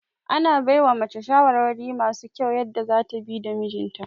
Ana baiwa mace shawarwari masu kyau yadda zata bi da mijinta